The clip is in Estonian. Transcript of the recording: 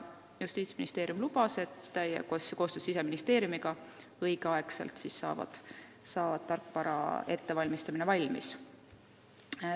Justiitsministeerium lubas, et koostöös Siseministeeriumiga saab tarkvara valmis õigeks ajaks.